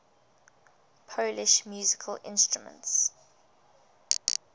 polish musical instruments